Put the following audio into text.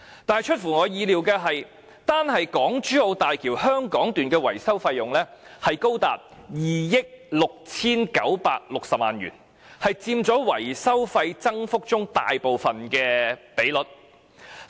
但出乎我意料的是，單是港珠澳大橋香港段的維修費用已高達2億 6,960 萬元，佔維修費增幅中大部分的比例。